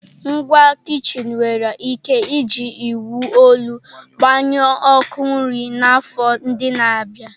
Ngwa kichin nwere ike iji iwu olu gbanyụọ ọkụ nri n'afọ ndị na-abịa.